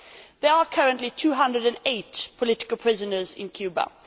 There are currently 208 political prisoners in Cuba.